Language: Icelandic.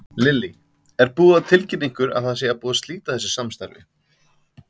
Lillý: Er búið að tilkynna ykkur það að það sé búið að slíta þessu samstarfi?